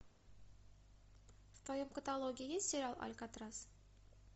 в твоем каталоге есть сериал алькатрас